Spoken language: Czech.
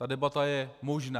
Ta debata je možná.